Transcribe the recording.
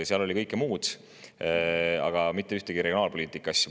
Seal oli kõike muud, aga mitte ühtegi regionaalpoliitika asja.